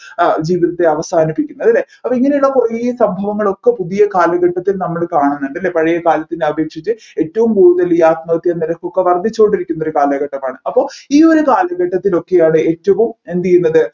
ആഹ് ജീവിതത്തെ അവസാനിപ്പിക്കുന്നത് അല്ലെ അപ്പൊ ഇങ്ങനെ ഉള്ള കുറെ സംഭവങ്ങളൊക്കെ ഒക്കെ പുതിയ കാലഘട്ടത്തിൽ നമ്മൾ കാണുന്നത് അല്ലെ പഴയ കാലത്തിനെ അപേക്ഷിച്ച് ഏറ്റവും കൂടുതൽ ഈ ആത്മഹത്യാ നിരക്ക് ഒക്കെ വർദ്ധിച്ചുകൊണ്ടിരിക്കുന്ന ഒരു കാലഘട്ടമാണ് അപ്പൊ ഈ ഒരു കാലഘട്ടത്തിലൊക്കെയാണ് ഏറ്റവും എന്ത് ചെയ്യുന്നത്